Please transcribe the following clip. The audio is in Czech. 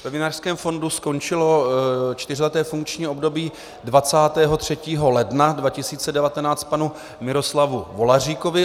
Ve Vinařském fondu skončilo čtyřleté funkční období 23. ledna 2019 panu Miroslavu Volaříkovi.